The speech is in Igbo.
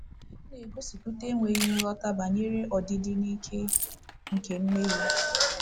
Ọ na-egosipụta enweghi nghọta banyere ọdịdị na ike nke mmehie.